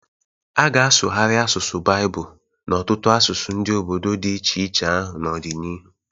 A ga-asụgharị asụsụ Baịbụl n’ọtụtụ asụsụ ndị obodo di iche iche ahụ n’ọdịnihu